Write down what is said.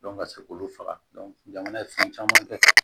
ka se k'olu faga jamana ye fɛn caman kɛ